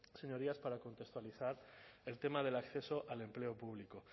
señorías para contextualizar el tema del acceso al empleo público